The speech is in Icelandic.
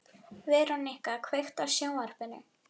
Verónika, kveiktu á sjónvarpinu.